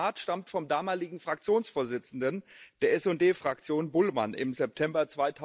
Dieses Zitat stammt vom damaligen Fraktionsvorsitzenden der SD Fraktion, Bullmann, im September